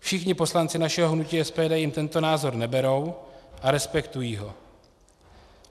Všichni poslanci našeho hnutí SPD jim tento názor neberou a respektují ho.